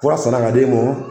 Kura sana ka di e mɔn.